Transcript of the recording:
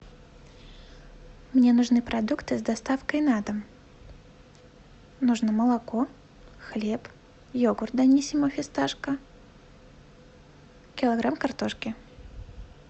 мне нужны продукты с доставкой на дом нужно молоко хлеб йогурт даниссимо фисташка килограмм картошки